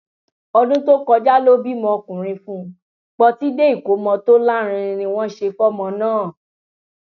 ọdún tó kọjá ló bímọ ọkùnrin fún pọtidé ìkọmọ tó lárinrin ni wọn sì ṣe fọmọ náà